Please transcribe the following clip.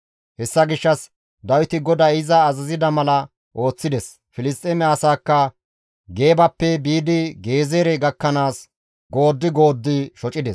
Hessa gishshas Dawiti GODAY iza azazida mala ooththides; Filisxeeme asaakka Geebappe biidi Gezeere gakkanaas gooddi gooddi shocides.